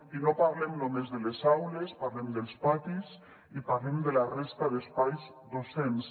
i no parlem només de les aules parlem dels patis i parlem de la resta d’espais docents